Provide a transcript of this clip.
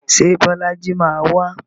Ṣé Bọ́lájí máa wá?